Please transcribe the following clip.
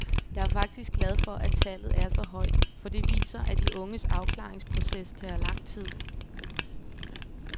Jeg er faktisk glad for, at tallet er så højt, for det viser, at de unges afklaringsproces tager lang tid.